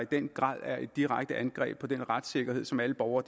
den grad er et direkte angreb på den retssikkerhed som alle borgere